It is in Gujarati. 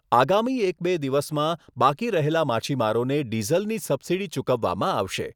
આગામી એક બે દિવસમાં બાકી રહેલા માછીમારોને ડીઝલની સબસીડી ચૂકવવામાં આવશે.